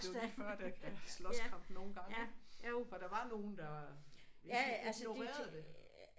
Det var lige før der slåskamp nogle gange ik for der var nogle der ikke altså ignorerede det